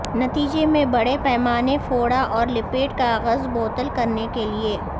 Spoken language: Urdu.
نتیجے میں بڑے پیمانے فوڑا اور لپیٹ کاغذ بوتل کرنے کے لئے